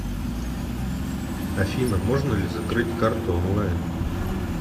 афина можно ли закрыть карту онлайн